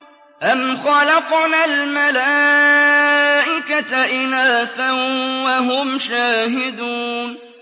أَمْ خَلَقْنَا الْمَلَائِكَةَ إِنَاثًا وَهُمْ شَاهِدُونَ